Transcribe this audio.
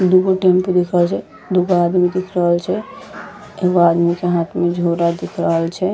दू गो टेम्पू दिख रहल छै दू गो आदमी दिख रहल छै एगो आदमी के हाथ में झोरा दिख रहल छै।